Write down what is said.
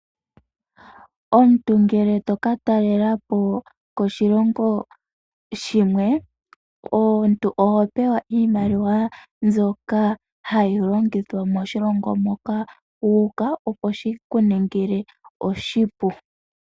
Omuntu ngele to ka talela po koshilongo shimwe, oho pewa iimaliwa mbyoka hayi longithwa moshilongo moka wu uka, opo shi ku ningile oshipu.